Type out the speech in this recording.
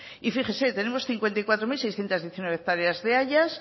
y fíjese tenemos cincuenta y cuatro mil seiscientos diecinueve hectáreas de hayas